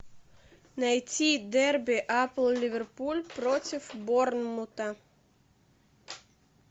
найти дерби апл ливерпуль против борнмута